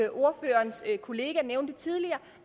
ikke kollega nævnte tidligere